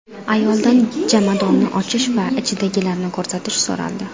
Ayoldan jomadonni ochish va ichidagilarni ko‘rsatish so‘raldi.